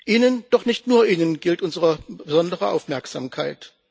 Ihnen jedoch nicht nur ihnen gilt unsere besondere Aufmerksamkeit.